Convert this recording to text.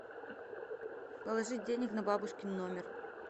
положить денег на бабушкин номер